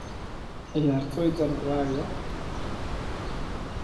Ciyaartoydan waa ayo?